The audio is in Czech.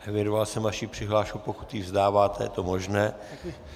Evidoval jsem vaši přihlášku, pokud ji vzdáváte, je to možné.